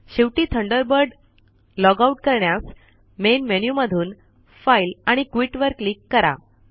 शेवटी Thunderbird log out करण्यास main menu मधून फाइल आणि क्विट वर क्लिक करा